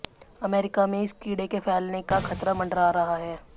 अमरीका में इस कीड़े के फैलने का खतरा मंडरा रहा है